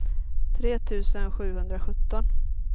tre tusen sjuhundrasjutton